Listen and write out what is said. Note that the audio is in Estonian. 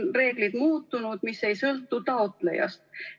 Reeglid on muutunud ja see ei sõltu taotlejast.